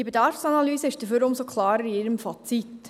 Die Bedarfsanalyse ist dafür umso klarer in ihrem Fazit: